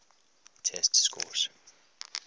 test scores